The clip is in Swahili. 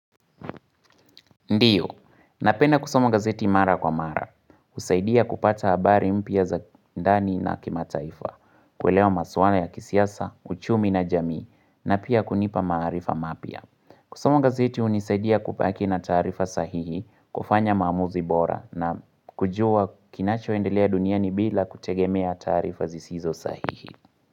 Ndiyo, napenda kusoma gazeti mara kwa mara. Uzaidia kupata habari mpya za ndani na kimataifa, kuelewa maswala ya kisiasa, uchumi na jamii, na pia kunipa maarifa mapya. Kusoma gazeti unizaidia kubaki na taarifa sahihi kufanya maamuzi bora na kujua kinachoendelea duniani bila kutegemea taarifa zisizo sahihi.